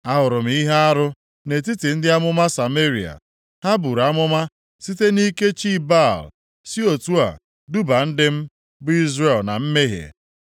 “Ahụrụ m ihe arụ nʼetiti ndị amụma Sameria: Ha buru amụma site nʼike chi Baal, si otu a duba ndị m, bụ Izrel na mmehie.